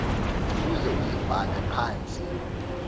uze uzibhale phantsi